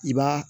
I b'a